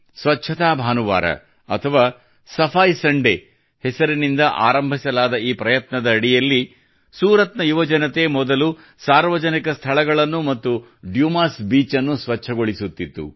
ಸ್ವಚ್ಛತಾ ಭಾನುವಾರ ಅಥವಾ ಸಫಾಯಿ ಸಂಡೇ ಹೆಸರಿನಿಂದ ಆರಂಭಿಸಲಾದ ಈ ಪ್ರಯತ್ನದ ಅಡಿಯಲ್ಲಿ ಸೂರತ್ ನ ಯುವಜನತೆ ಮೊದಲು ಸಾರ್ವಜನಿಕ ಸ್ಥಳಗಳನ್ನು ಮತ್ತು ಡುಮಾಸ್ ಬೀಚ್ ಅನ್ನು ಸ್ವಚ್ಛಗೊಳಿಸುತ್ತಿತ್ತು